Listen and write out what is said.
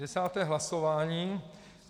Desáté hlasování.